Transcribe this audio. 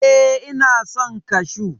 E, ina son kashu.